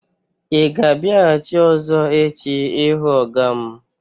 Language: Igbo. Ị ga-abịaghachi ọ̀zọ́ echi ịhụ ọga m?